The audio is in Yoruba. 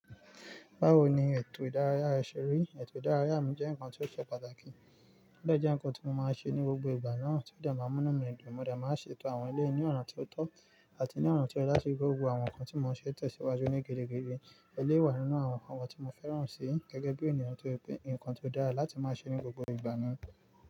Báwo ni ètò ìdárayá rẹ ṣe rí? Ètò ìdárayá mi jẹ́ nǹkan tí ó ṣe pàtàkì. Ó deje nǹkan tí mo máa ń ṣe ní gbogbo ìgbà náà tí ó dàgbà múnú mi nù. Mo dàgbà máa ṣe ètò àwọn ilé ní ọ̀ràn tí ó tọ́ àti ní ọ̀ràn tí ó dára sí gbogbo àwọn nǹkan tí mo ń ṣe tẹ̀síwájú ní gẹ́gẹ́. Èlé wà nínú àwọn nǹkan tí mo fẹ́ràn si gẹ́gẹ́ bí ènìyàn tó pè nǹkan tó dára láti máa ṣe ní gbogbo ìgbà mi.